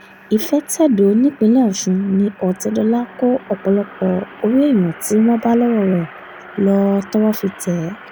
ìfẹ̀tẹ̀dọ̀ nípìnlẹ̀ ọ̀sùn ni ọ̀tẹ̀dọ́là ń kó ọ̀pọ̀lọpọ̀ orí èèyàn tí wọ́n bá lọ́wọ́ rẹ̀ lọ tọwọ́ fi tẹ̀ ẹ́